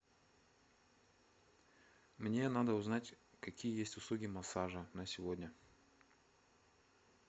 мне надо узнать какие есть услуги массажа на сегодня